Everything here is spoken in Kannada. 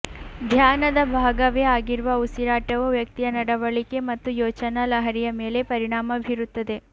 ಧ್ಯಾನದ ಭಾಗವೇ ಆಗಿರುವ ಉಸಿರಾಟವು ವ್ಯಕ್ತಿಯ ನಡವಳಿಕೆ ಮತ್ತು ಯೋಚನಾ ಲಹರಿಯ ಮೇಲೆ ಪರಿಣಾಮ ಬೀರುತ್ತದೆ